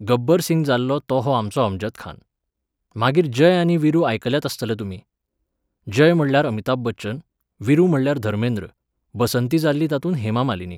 गब्बर सिंग जाल्लो तो हो आमचो अमजद खान. मागीर जय आनी विरु आयकल्यात आसतले तुमी. जय म्हणल्यार अमिताभ बच्चन, विरु म्हणल्यार धर्मेंद्र, बसंती जाल्ली तातूंत हेमा मालिनी